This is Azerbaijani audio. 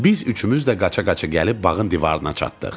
Biz üçümüz də qaça-qaça gəlib bağın divarına çatdıq.